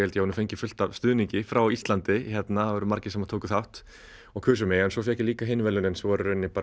ég hafi fengið fullt af stuðningi frá Íslandi það voru margir sem tóku þátt og kusu mig en svo fékk ég líka hin verðlaunin sem voru bara